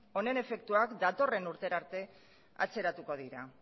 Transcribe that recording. honen efektuak datorren urtera arte atzeratuko dira